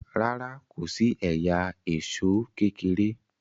ràrá kòsí ẹyà Èṣó kékeré.